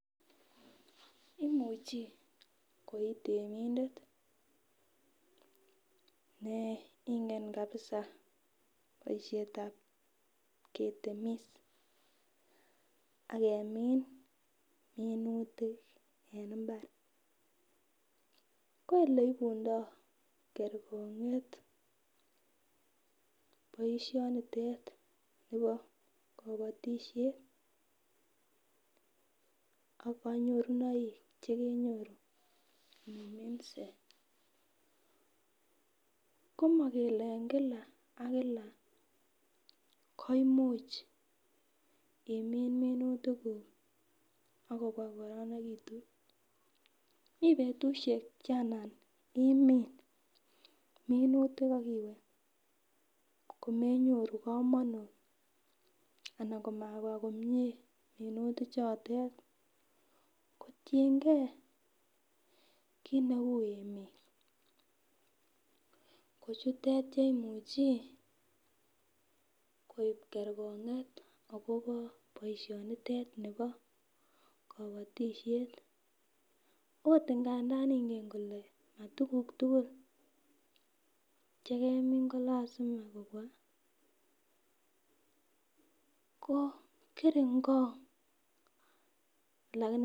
Imuchi koitemindet ne ingen kabiza boisiet ab ketemis ak kemin minutik en imbar, ko oleibundoo kergong'et boisinitet bo kabotisiet ak kanyorunoik chekenyoru iniminse, ko ingele en kila ak kila koimuch imin minutikuk ak kobwa kogororonegitun, mi betusiek che anan minutikuk ak iwe komenyoru komonut anan komabwa komyee minutichotet, kotiengen kiit neu emeet, ko chutet cheimuche koib kerkong'et akobo boisionitet nebo kobotisiet, ot ingandan ingen kole matuguk tugul chegemin koyoche koruryo ko kerinkong'.